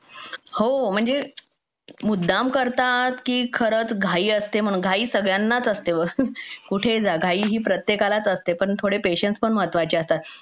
हो म्हणजे मुद्दाम करतात की खरंच घाई असते घाई सगळ्यांनाच असते बघ कुठेही प्रत्येकालाच असते पण थोडे पेशन्स पण महत्त्वाचे असतात